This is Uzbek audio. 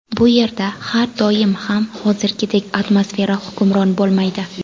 Bu yerda har doim ham hozirgidek atmosfera hukmron bo‘lmaydi.